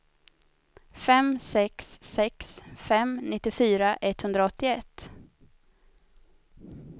fem sex sex fem nittiofyra etthundraåttioett